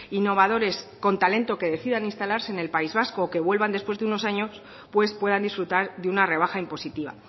innovadores con talento que decidan instalarse en el país vasco o que vuelvan después de unos años pues puedan disfrutar de una rebaja impositiva